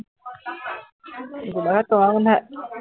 Golaghat Kamarbandha